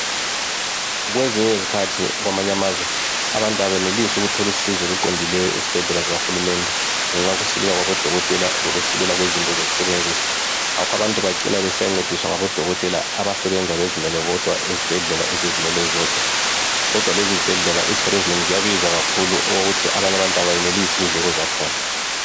kwezinye izikhathi kwamanye amazwe abantu abenelisi ukuthola usizo oluqondileyo ezibhedlela zabo hulumende ngenxa yokuswelakala kwabodokotela lokuswelakala kwezinto zokusebenzisa ngakho abantu bacina besiyancediswa ngabodokotela abazisebenza bodwa ezibhedlela ezizmele zodwa izibhedlela ziyabiza kakhulu okokuthi bantu abakwanisi indleko zakhona